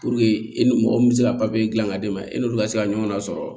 e ni mɔgɔ min bɛ se ka papiye dilan ka d'e ma e n'olu ka se ka ɲɔgɔn lasɔrɔ